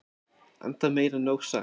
enda meir en nóg sagt